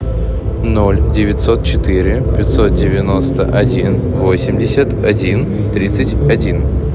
ноль девятьсот четыре пятьсот девяносто один восемьдесят один тридцать один